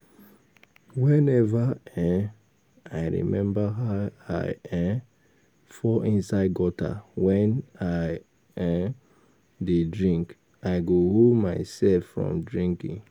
Whenever um I remember how I um fall inside gutter wen I um dey drink I go hold myself from drinking